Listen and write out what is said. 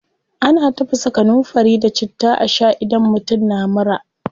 Ana tafasa kanunfari da citta a shaa idan mutum na mura.